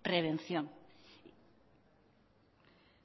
prevención